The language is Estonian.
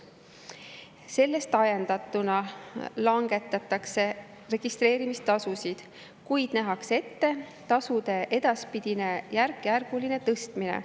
Sellest ajendatuna registreerimistasusid langetatakse, kuid nähakse ette nende edaspidine järkjärguline tõstmine.